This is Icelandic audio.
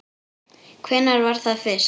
Hvenær var það fyrst?